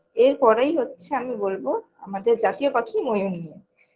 এর পরেই হচ্ছে আমি বোলব আমাদের জাতীয় পাখি ময়ুর নিয়ে